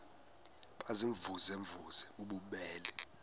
baziimvuze mvuze bububele